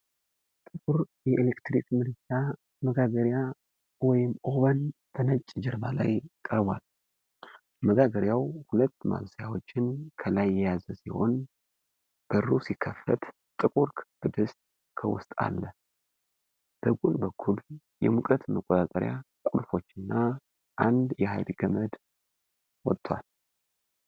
ጥቁር የኤሌክትሪክ ምድጃና መጋገርያ (ኦቨን) በነጭ ጀርባ ላይ ቀርቧል። መጋገርያው ሁለት ማብሰያዎችን ከላይ የያዘ ሲሆን፣ በሩ ሲከፈት ጥቁር ክብ ድስት ከውስጥ አለ። በጎን በኩል የሙቀት መቆጣጠሪያ ቁልፎችና አንድ የኃይል ገመድ ወጥቷል።